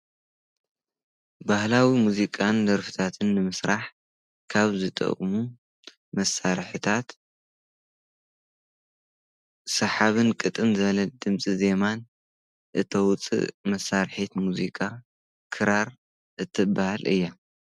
ባህላዊ ሙዚቃን ደርፍታትን ንምስራሕ ካብ ዝጠቅሙ መሳርሕታት ሳሓብን ቅጥን ዝለል ድምፂ ዜማን እተውፅእ መሳርሒት ሙዚቃ ክራር እትባሃል እያ።